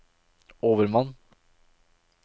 overmann